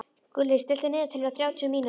Gulli, stilltu niðurteljara á þrjátíu mínútur.